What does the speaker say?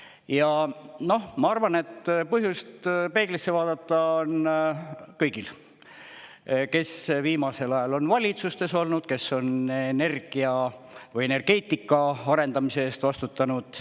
Ja, noh, ma arvan, et põhjust peeglisse vaadata on kõigil, kes viimasel ajal on valitsustes olnud, kes on energia või energeetika arendamise eest vastutanud.